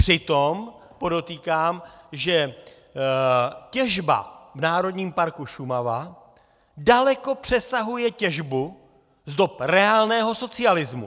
Přitom, podotýkám, těžba v Národním parku Šumava daleko přesahuje těžbu z dob reálného socialismu.